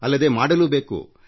ಅಲ್ಲದೇ ಅದನ್ನು ಮಾಡಲೂ ಬೇಕು